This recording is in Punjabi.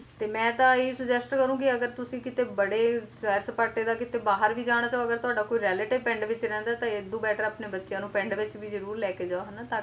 ਤੇ ਮੈਂ ਤਾਂ ਇਹੀ suggest ਕਰੂੰਗੀ ਅਗਰ ਤੁਸੀ ਕਿਤੇ ਬੜੇ ਸੈਰ ਸਪਾਟੇ ਦਾ ਬਾਹਰ ਵੀ ਜਾਣਾ ਚਾਹੋਗੇ ਤੁਹਾਡਾ relative ਪਿੰਡ ਵਿੱਚ ਰਹਿੰਦਾ ਤਾਂ ਇਹਦੂ better ਆਪਣੇ ਬੱਚਿਆਂ ਨੂੰ ਪਿੰਡ ਵਿੱਚ ਵੀ ਜਰੂਰ ਲੈਕੇ ਜਾਓ ਹਨਾਂ ਤਾਂ ਕਿ ਉਹਨਾਂ ਨੂੰ